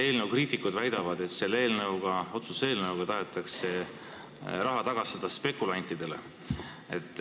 Eelnõu kriitikud väidavad, et selle otsuse eelnõuga tahetakse raha tagastada spekulantidele.